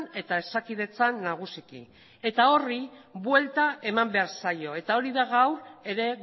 eta hezakidetzan nagusiki horri buelta eman behar zaio eta hori da gaur ere